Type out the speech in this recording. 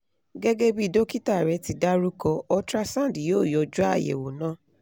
gegebi dokita re ti daruko ultrasound yo yanju ayewo na